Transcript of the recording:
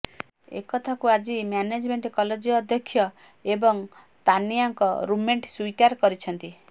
ଏକଥାକୁ ଆଜି management college ଅଧ୍ୟକ୍ଷ ଏବଂ ତାନିଆଙ୍କ ରୁମ୍ମେଟ୍ ସ୍ବୀକାର କରିଛନ୍ତି